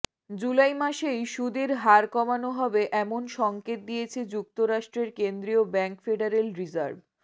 জুলাই মাসেই সুদের হার কমানো হবে এমন সংকেত দিয়েছে যুক্তরাষ্ট্রের কেন্দ্রীয় ব্যাংক ফেডারেল রিজার্ভ